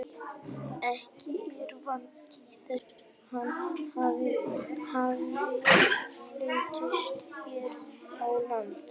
Ekki er vitað til þess að hann hafi fundist hér á landi.